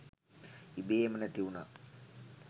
ඉබේම නැති උනා.